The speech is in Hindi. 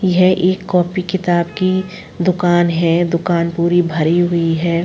यह एक कॉपी किताब की दुकान है। दुकान पूरी भरी हुई है।